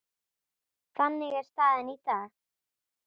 Þannig er staðan í dag.